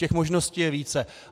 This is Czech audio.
Těch možností je více.